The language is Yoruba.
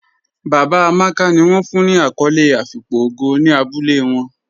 Baba Amàkà ni wọn fún ní akòlé àfíkpò ògó ní àbúlẹ̀ wọn.